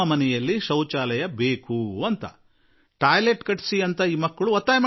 ಶೌಚಾಲಯ ನಿರ್ಮಾಣಕ್ಕೆ ಕೋರಿದರು